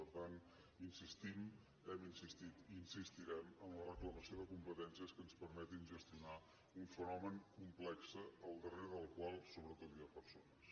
per tant insistim hem insistit i insistirem en la reclamació de competències que ens permetin gestionar un fenomen complex al darrere del qual sobretot hi ha persones